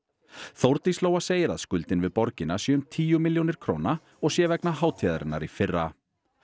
Þórdís Lóa segir að skuldin við borgina sé um tíu milljónir króna og sé vegna hátíðarinnar í fyrra